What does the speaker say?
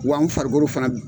Wa an farikolo fana